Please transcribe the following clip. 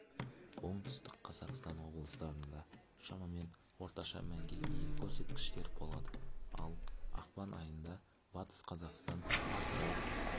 оңтүстік қазақстан облыстарында шамамен орташа мәнге ие көрсеткіштер болады ал ақпан айында батыс қазақстан атырау